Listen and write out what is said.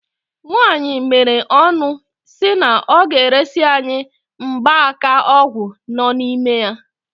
Nwaanyị meere ọnụ si na ọ ga-eresi anyị gba aka ọgwụ nọ n'ime ya.